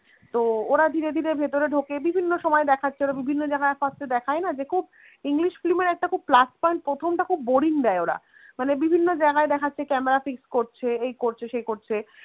তো ওরা ধীরে ধীরে ভেতরে ঢোকে বিভিন্ন সময় দেখাচ্ছে বিভিন্ন জায়গায় first এ দেখায় না যে খুব english film এর একটা খুব plus point প্রথম টা খুব boring দেয় ওরা মানে বিভিন্ন জায়গায় দেখাচ্ছে camera fix করছে এই করছে সেই করছে